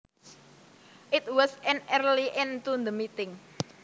It was an early end to the meeting